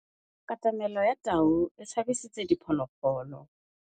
Katamêlô ya tau e tshabisitse diphôlôgôlô.